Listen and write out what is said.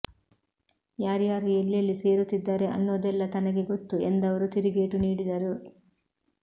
ಯಾರ್ಯಾರು ಎಲ್ಲೆಲ್ಲಿ ಸೇರುತ್ತಿದ್ದಾರೆ ಅನ್ನೋದೆಲ್ಲಾ ತನಗೆ ಗೊತ್ತು ಎಂದವರು ತಿರುಗೇಟು ನೀಡಿದರು